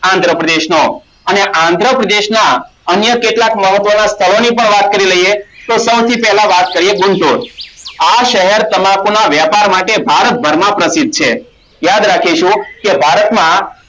આંધ્રપ્રદેશનો અને આંધ્રપ્રદેશના અન્ય કેટલાક તો સૌ થી પહેલા વાત કરીયે આ શહેર તમાકુના વ્યાપાર માટે ભારતભરમાં પ્રસિદ્ધ છે યાદ રાખીશું કે ભારતમાં